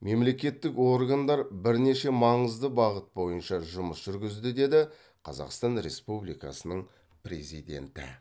мемлекеттік органдар бірнеше маңызды бағыт бойынша жұмыс жүргізді деді қазақстан республикасының президенті